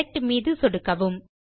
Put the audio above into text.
select மீது சொடுக்கவும்